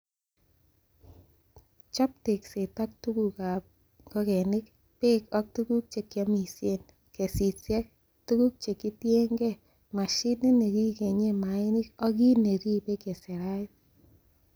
Chop tekset ak tuguk ab kap ingogen, beek ak tuguk che kiomisien, kesisiek, tuguk che kitienge, mashinit nekikenyen mainik ak kit neribe keserait.